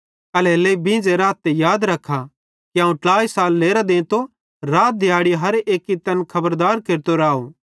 एल्हेरेलेइ बींझ़े राथ ते याद रखा कि अवं ट्लाई साल लेरां देंतो रात दिहैड़ी हर एक्की तैन खबरदार केरतो राव